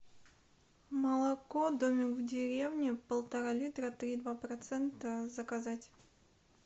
молоко домик в деревне полтора литра три и два процента заказать